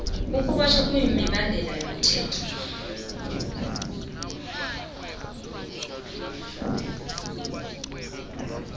ukubotjhwa mibandela yomthetho